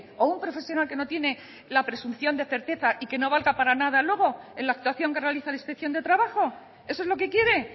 o un profesional que no tiene la presunción de certeza y que no valga para nada luego en la actuación que realiza la inspección de trabajo eso es lo que quiere